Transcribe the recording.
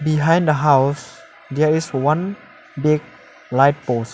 behind the house there is one big light pose .